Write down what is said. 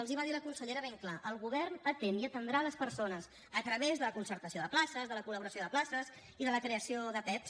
els ho va dir la consellera ben clar el govern atén i atendrà les persones a través de la concertació de places de la col·laboració de places i de la creació de pevs